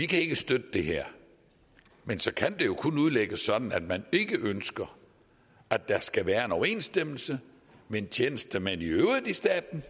kan støtte det her men så kan det jo kun udlægges sådan at man ikke ønsker at der skal være en overensstemmelse mellem tjenestemænd i staten